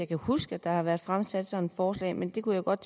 kan huske at der har været fremsat sådan forslag men det kunne jeg godt